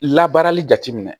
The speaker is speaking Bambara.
Labaarali jateminɛ